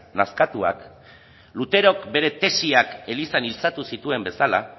nazkatuak luterok bere tesiak elizanitzatu zituen bezala